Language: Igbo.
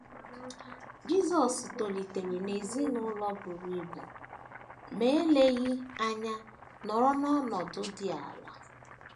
Jisọs tolitere n’ezinụlọ buru ibu, ma eleghị anya nọrọ n’ọnọdụ dị ala